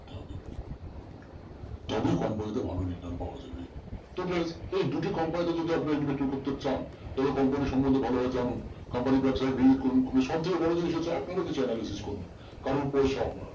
তবে company তে ভালো return পাওয়া যাবে তবে এই দুটো company তে যদি আপনারা investing করতে চান তাহলে company র সম্বন্ধে ভালোভাবে জানুন company র ব্যবসায় করুন সব থেকে বড় জিনিস হচ্ছে আপনারাও কিছু analysis করুন কারণ পয়সা আপনার